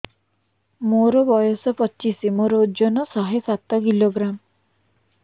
ମୋର ବୟସ ପଚିଶି ମୋର ଓଜନ ଶହେ ସାତ କିଲୋଗ୍ରାମ